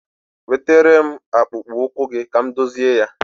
Wetere m akpụkpụ ụkwụ gị ka m dụzịe ya.